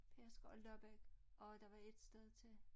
Pedersker og Lobbæk og der var ét sted til